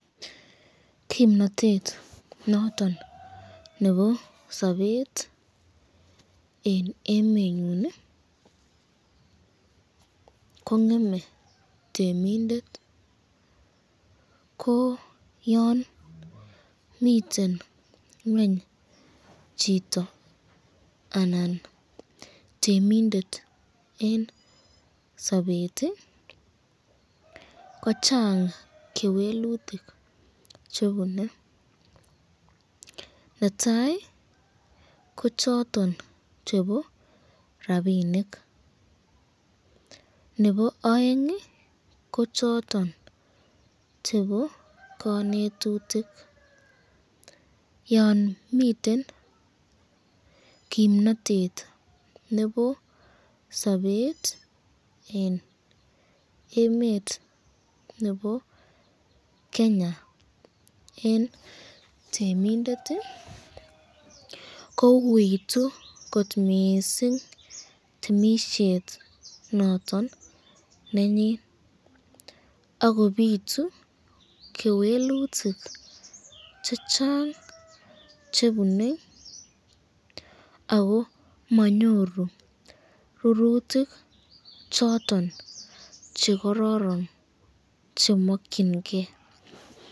Kimnatet niton nebo sabet eng emenyu ko ngeme temindet, ko yan miten ngweny chito anan temindet eng sabet ko chang kewelutik chebune, netai ko choton chebo rapinik, nebo aeng ko choton chebo kanetutuk, yon miten kimnatet nebo sabet eng emet nebo Kenya eng temindet ko uitu kot missing temisyet noton nenyun akobitu kewelutik chechang chebune ako manyoru rurutik choton chekororon chemakyinike.